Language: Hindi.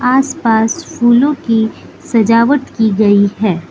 आसपास फूलों की सजावट की गई है।